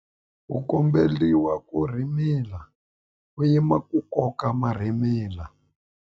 U komberiwa ku rhimila u yima ku koka marhimila.